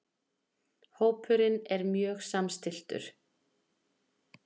Hópurinn er mjög samstilltur